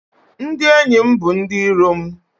Ndị enyi m bụ ndị iro m